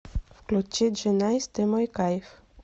включи джи найс ты мой кайф